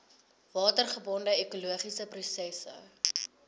watergebonde ekologiese prosesse